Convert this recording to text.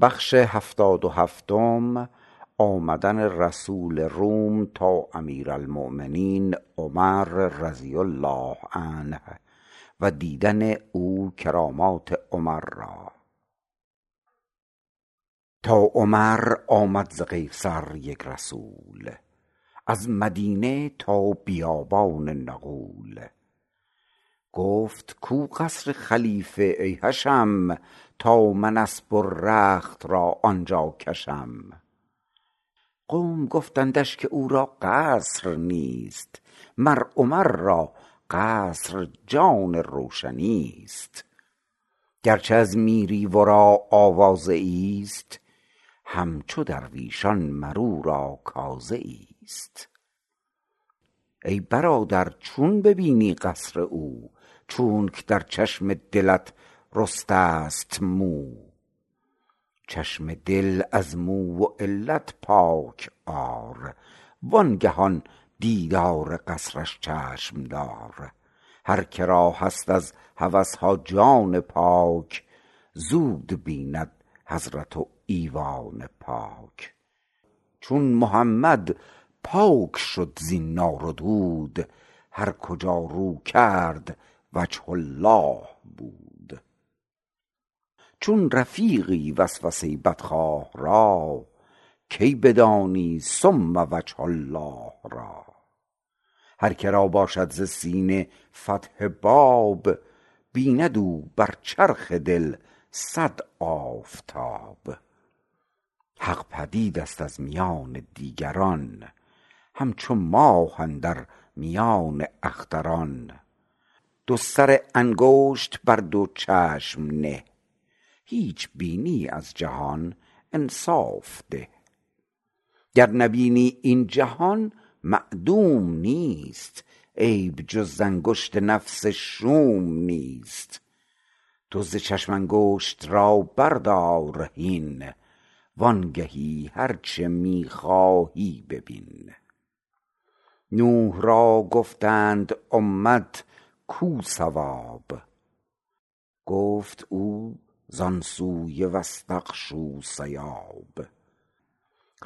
تا عمر آمد ز قیصر یک رسول در مدینه از بیابان نغول گفت کو قصر خلیفه ای حشم تا من اسپ و رخت را آنجا کشم قوم گفتندش که او را قصر نیست مر عمر را قصر جان روشنیست گرچه از میری ورا آوازه ایست همچو درویشان مر او را کازه ایست ای برادر چون ببینی قصر او چونک در چشم دلت رسته ست مو چشم دل از مو و علت پاک آر وانگه آن دیدار قصرش چشم دار هر که را هست از هوسها جان پاک زود بیند حضرت و ایوان پاک چون محمد پاک شد زین نار و دود هر کجا رو کرد وجه الله بود چون رفیقی وسوسه بدخواه را کی بدانی ثم وجه الله را هر که را باشد ز سینه فتح باب بیند او بر چرخ دل صد آفتاب حق پدیدست از میان دیگران همچو ماه اندر میان اختران دو سر انگشت بر دو چشم نه هیچ بینی از جهان انصاف ده گر نبینی این جهان معدوم نیست عیب جز ز انگشت نفس شوم نیست تو ز چشم انگشت را بردار هین وانگهانی هرچه می خواهی ببین نوح را گفتند امت کو ثواب گفت او زان سوی واستغشوا ثیاب